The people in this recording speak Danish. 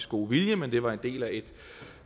gode vilje men det var en del af et